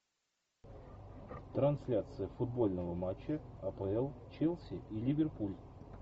трансляция футбольного матча апл челси и ливерпуль